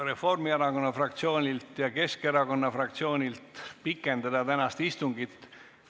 Reformierakonna fraktsioonilt ja Keskerakonna fraktsioonilt pikendada tänast istungit.